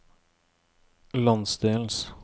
landsdelens